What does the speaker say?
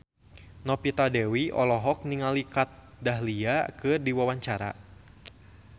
Novita Dewi olohok ningali Kat Dahlia keur diwawancara